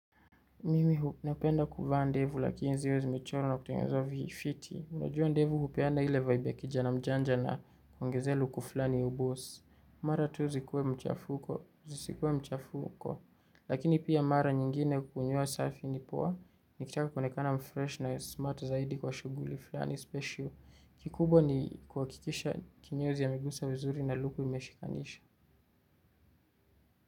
Mimi napenda kuvaa ndevu, lakini zile zimechoro na kutungenzwa vifiti. Unajua ndevu hupeana ile vibe ya kijana mjanja na kwongezea luku flani ya uboss. Mara tu zikuwe mchafuko, zisikuwe mchafuko. Lakini pia mara nyingine kukunyua selfie ni poa. Nikitaka kuonekana mfresh na smart zaidi kwa shughuli flani special. Kikubwa ni kuhakikisha kinyozi amegusa vizuri na luku imeshikanisha.